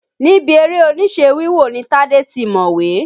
Níbi eré-oníṣe wíwò ni Tadè ti mọ̀wé.